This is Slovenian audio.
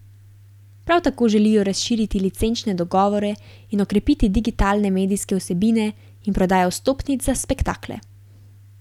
Prav tako želijo razširiti licenčne dogovore in okrepiti digitalne medijske vsebine in prodajo vstopnic za spektakle.